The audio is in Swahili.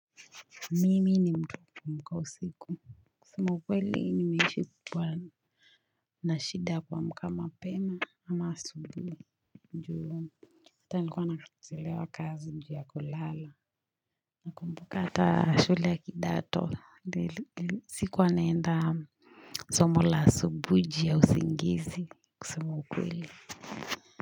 Mimi ni mtu wa kuamka usiku kusema ukweli nimeishi kukua na shida ya kuamka mapema ama asubuhi ndo hata nilikuwa nachelewa kazi juu ya kulala Nakumbuka hata shule ya kidato sikuwa naenda somo la asubuhi juu ya usingizi kusema ukweli.